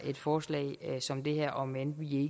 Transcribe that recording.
forslag som det her om end